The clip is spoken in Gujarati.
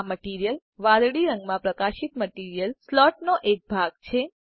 આ મટીરીયલ વાદળીરંગમાં પ્રકાશિત મટીરીયલ સ્લોટનો એક ભાગ છે